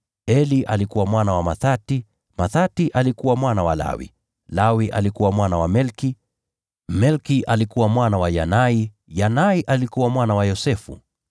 Eli alikuwa mwana wa Mathati, Mathati alikuwa mwana wa Lawi, Lawi alikuwa mwana wa Melki, Melki alikuwa mwana wa Yanai, Yanai alikuwa mwana wa Yosefu,